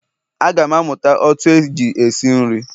Aga m amụta otú eji esi nri